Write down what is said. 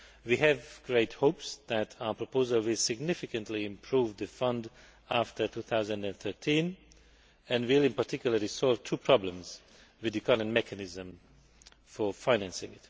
we have great hopes that our proposal will significantly improve the fund after 2013 and will, in particular, solve two problems with the current mechanism for financing.